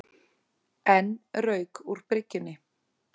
Enn rauk úr bryggjunni